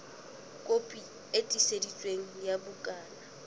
kopi e tiiseditsweng ya bukana